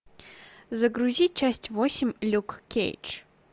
загрузи часть восемь люк кейдж